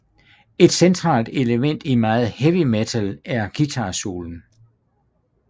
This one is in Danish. Et centralt element i meget heavy metal er guitarsoloen